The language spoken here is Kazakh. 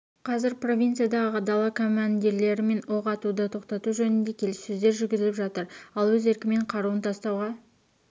қазір провинциядағы дала командирлерімен оқ атуды тоқтату жөнінде келіссөздер жүргізіліп жатыр ал өз еркімен қаруын тастауға